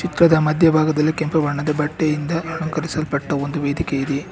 ಚಿತ್ರದ ಮಧ್ಯ ಭಾಗದಲ್ಲಿ ಕೆಂಪು ಬಣ್ಣದ ಬಟ್ಟೆಯಿಂದ ಅಲಂಕರಿಸಲ್ಪಟ್ಟ ವೇದಿಕೆ ಇದೆ.